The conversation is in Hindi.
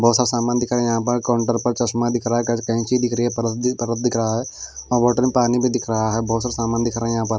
बहोत सा सामान दिख रहा है यहां पर काउंटर पर चश्मा दिख रहा है क कैची दिख रही है। परस परत दिख रहा है और बॉटल में पानी भी दिख रहा है। बहोत सारा सामान दिख रहा है। यहां पर --